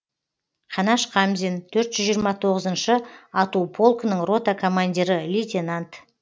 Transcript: қанаш қамзин төрт жүз жиырма тоғызыншы ату полкінің рота командирі лейтенант